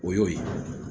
O y'o ye